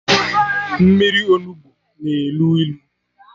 Mmiri Onugbu na elu ilu